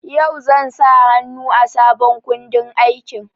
Yau zan sa hannu a sabon kundin aikin.